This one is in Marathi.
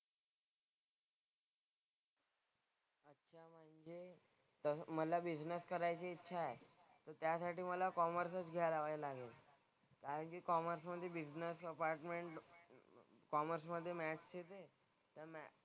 तर मला बिझनेस करायची इच्छा आहे त्यासाठी मला कॉमर्सच घ्यायला हवंय सांगितलं. कारण की कॉमर्समधे बिझनेस कॉमर्समधे मॅथ्स येते.